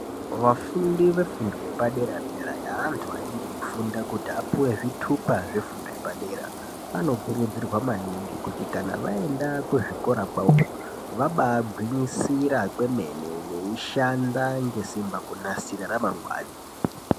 Vafundi vefundo yepadera-dera yeantu anenge eifunda kuti apuwe zvithupa zvefundo yepadera vanokurudzirwa maningi kuti Kana vaenda kuzvikora kwavoyo vabagwinyisira kwemene vaishanda ngesimba kunasira ramangwani.